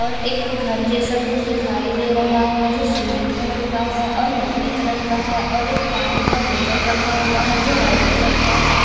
और एक घर जेसा कुछ दिखाई दे रहा है जो सीमेंट कलर का है और मिट्टी कलर का है और एक पानी का बोटल रखा हुआ है जो वाइट कलर का है।